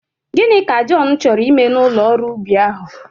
Gịnị ka Jọn chọrọ ime n'ụlọ ọrụ ubi ahụ?